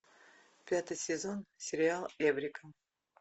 пятый сезон сериал эврика